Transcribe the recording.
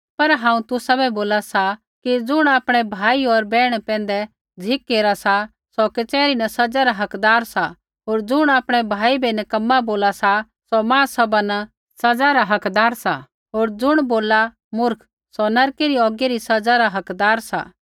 पर हांऊँ तुसाबै बोला सा कि ज़ुण आपणै भाई होर बैहणा पैंधै गुस्सा केरा सा सौ कचहरी न सज़ा रा हकदार सा होर ज़ुण आपणै भाई बै नकम्मा बोला सा सौ महासभा न सज़ा रा हकदार सा होर ज़ुण बोलला मूर्ख सौ नरकै री औगी री सज़ै रै हकदार सा